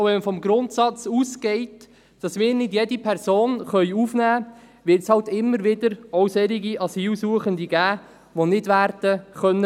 Wenn man vom Grundsatz ausgeht, dass wir nicht jede Person aufnehmen können, wird es immer wieder solche Asylsuchende geben, die nicht werden bleiben können.